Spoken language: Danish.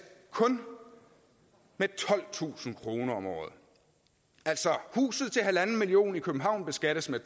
kun med tolvtusind kroner om året altså huset til en million kroner i københavn beskattes med